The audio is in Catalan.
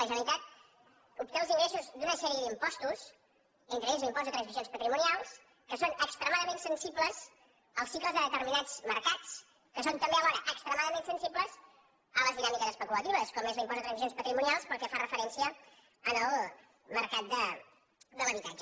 la generalitat obté els ingressos d’una sèrie d’impostos entre ells l’impost de transmissions patrimonials que són extremadament sensibles als cicles de determinats mercats que són també alhora extremadament sensibles a les dinàmiques especulatives com és l’impost de transmissions patrimonials per al que fa referència al mercat de l’habitatge